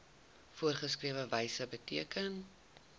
voorgeskrewe wyse beteken